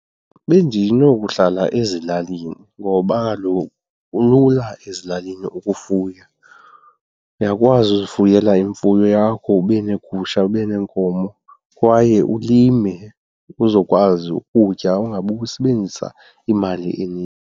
Bendinokuhlala ezilalini ngoba kaloku kulula ezilalini ukufuya. Uyakwazi uzifuyela imfuyo yakho ube neegusha ube neenkomo kwaye ulime uzokwazi ukutya ungabi usebenzisa imali .